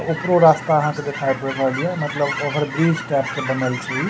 उपरो रास्ता आहां के दिखाई पड़ रहल या मतलब ओवर ब्रिज टाइप के बनल छै इ।